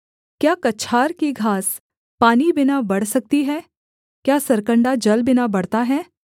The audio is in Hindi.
क्या कछार की घास पानी बिना बढ़ सकती है क्या सरकण्डा जल बिना बढ़ता है